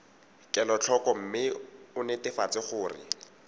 kelotlhoko mme o netefatse gore